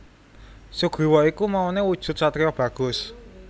Sugriwa iku maune wujud satriya bagus